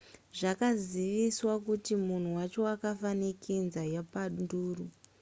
zvakaziviswa kuti munhu wacho akafa nekenza yepanduru